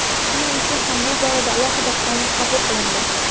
Shuning uchun ham bu borada alohida qonun qabul qilindi.